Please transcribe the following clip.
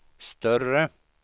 större